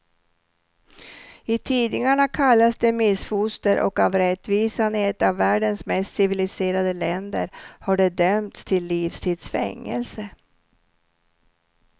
I tidningarna kallas de missfoster och av rättvisan i ett av världens mest civiliserade länder har de dömts till livstids fängelse.